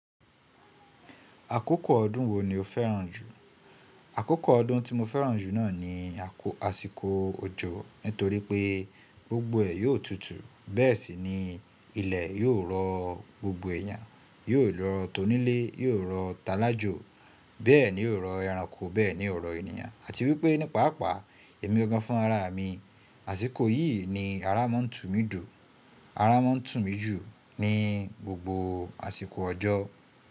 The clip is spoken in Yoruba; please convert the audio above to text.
Àkókò ọdún wo ni o fẹ́ràn jù? Àkókò ọdún tí mo fẹ́ràn jù náà ni àsìkò òjò nítorí pé gbogbo ẹ̀ yóò tutù, bẹ́ẹ̀ sì ni ilẹ̀ yóò rọ̀ gbogbo ẹ̀yàn, yóò rọ̀ tonílè, yóò rọ̀ talájò, bẹ́ẹ̀ ni yóò rọ̀ ẹranko, bẹ́ẹ̀ ni yóò rọ̀ ènìyàn. Àti wípé nípaàpá èmi gangan fún ara mi àsìkò yìí ni ara máa ń tùn mí dù, ara máa ń tùn mí jù ní gbogbo àsìkò ọjọ́